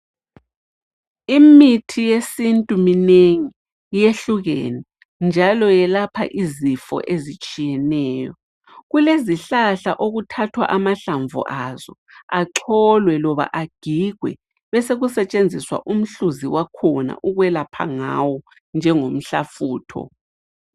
Imithi yesintu minengi iyehlukene njalo yelapha izifo ezitshiyeneyo. Kulezihlahla okuthathwa amahlamvu azo acholwe loba agigwe besekusetshenziswa umhluzi wakhona ukwelapha ngawo njengomhlafutho.